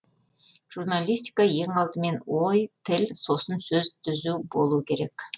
журналистика ең алдымен ой тіл сосын сөз түзу болу керек